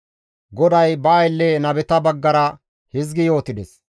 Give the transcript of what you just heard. GODAY ba aylle nabeta baggara hizgi yootides;